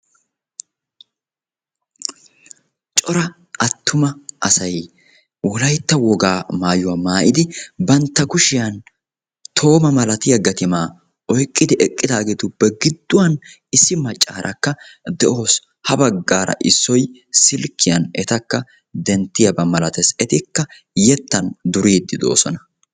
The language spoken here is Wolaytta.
Cora attuma asay Wolaytta woga maayyuwa maayyidi vantta kushiyaan tooma malattiya gattima oyqqidi eqqidaageetuppe giduwaan issi maccaarakka de'awus. Ha baggaarakka issoy silkkiya etakka denttiyaaba malatees. Etikka yettan duridi doosona.